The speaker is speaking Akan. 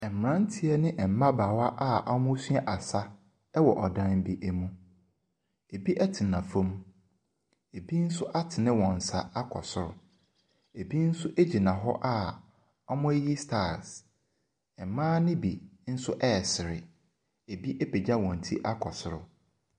Mmeranteɛ ne mmabaawa a wɔresua asa wɔ ɔdan bi mu. Ebi tena fam, ebi nso atene wɔn nsa akɔ soro, ebi nso gyina hɔ a wɔreyiyi styles. Mmaa no bi nso resere, ebi apagya wɔn ti akɔ soro.